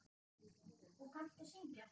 Sindri: Og kanntu að syngja?